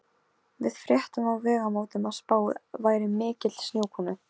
Við fréttum á Vegamótum að spáð væri mikilli snjókomu.